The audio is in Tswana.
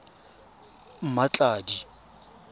mmatladi